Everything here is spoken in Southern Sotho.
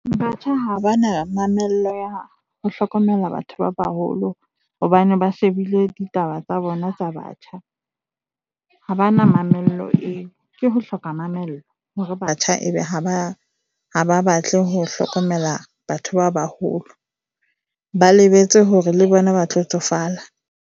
Batjha ha ba na mamello ya ho hlokomela batho ba baholo hobane ba shebile ditaba tsa bona tsa batjha. Ha ba na mamello eo, ke ho hloka mamello hore batjha e be ha ba batle ho hlokomela batho ba baholo, ba lebetse hore le bona ba tlo tsofala.